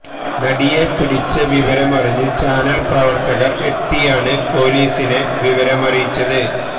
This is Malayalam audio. നടിയെ പിടിച്ച വിവരമറിഞ്ഞ് ചാനല് പ്രവര്ത്തകര് എത്തിയാണ് പോലീസിനെ വിവരമറിയിച്ചത്